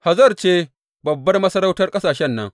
Hazor ce babbar masarautan ƙasashen nan.